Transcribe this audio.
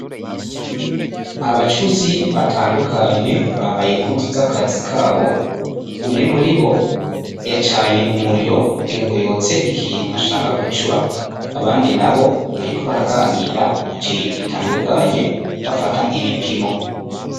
Abacuzi batandukanye bambaye impuzu z'akazi kabo, umwe muri bo yacanye umuriro kugira ngo yotse ikintu ashaka gucura, abandi nabo bariko baraganira ku kintu gitandukanye, bafata ibipimo.